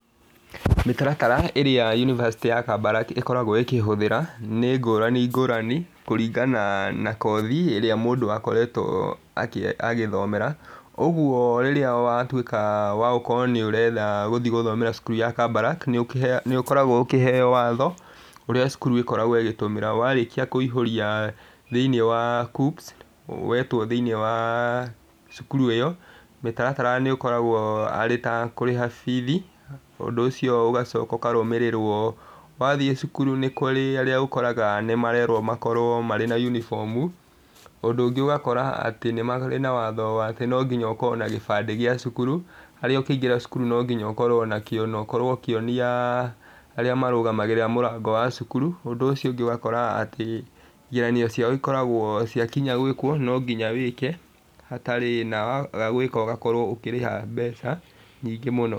Mĩtaratara ĩrĩa unibacĩtĩ ya Kabarak ĩkoragwo ĩkĩhũthĩra, nĩ ngũrani ngũrani kũringana na kothi mĩrĩa mũndũ akoretwo agĩthomera. Ũguo rĩrĩa watuĩka wa gũkorwo nĩ ũrenda gũthiĩ gũthomera cukuru ya Kbarak, nĩ ũkoragwo ukiheo watho ũrĩa cukuru iyo ĩkoragwo ĩkĩhũthĩra. Na warĩkia kũihũria thiini wa KUCCPS, wetwo thĩinĩ wa cukuru ũcio mũtaratara nĩ ũkoragwo arĩ ũtakjũrĩha bithi ũndũ ũcio ũgacoka ũkarũmĩrĩrwo . Wathiĩ cukuru nĩ kũrĩa arĩa ũkoraga nĩ marerwo makorwo marĩ na uniform. Ũndũ ũngĩ ũgakora atĩ nĩ marĩ na watho atĩ no nginya ũkorwo na gĩbandĩ gĩa cukuru harĩa ũkĩingĩra cukuru no nginya ũkorwo nakĩo na ũkorwo ukĩonia arĩa marũgamagĩrĩra mũrango wa cukuru. Ũndũ ũcio ũngĩ ũkoragwo atĩ igeranio ciao ciakinya gwĩkwo no nginya wĩke na waga gwĩka ũgakorwo ũkĩrĩha mbeca nyingĩ mũno.